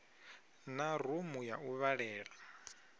na rumu ya u vhalela